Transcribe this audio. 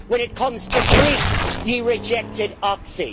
When it comes to Greece, you rejected Oxi'.